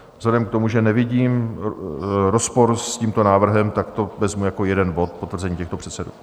Vzhledem k tomu, že nevidím rozpor s tímto návrhem, tak to vezmu jako jeden bod potvrzení těchto předsedů.